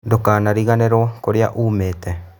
Ndũkariganĩro kũrĩa wumĩte.